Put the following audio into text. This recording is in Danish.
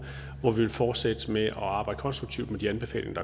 år hvor vi vil fortsætte med at arbejde konstruktivt med de anbefalinger